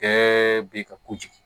Bɛɛ be ka kojugu